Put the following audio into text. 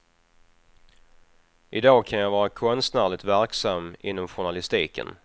I dag kan jag vara konstnärligt verksam inom journalistiken.